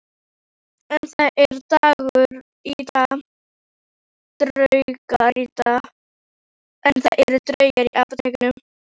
En það eru draugar í Apótekinu